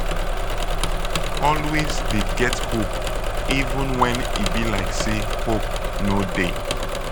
always dey get hope even wen e be like say hope no dey.